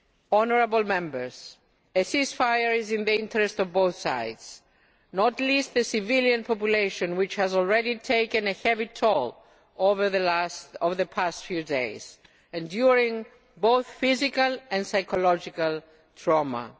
Honourable Members, a ceasefire is in the interests of both sides, and not least of the civilian population, which has already taken a heavy toll over the past few days, enduring both physical and psychological trauma.